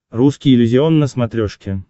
русский иллюзион на смотрешке